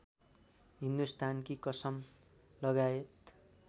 हिन्दुस्तानकी कसम लगायत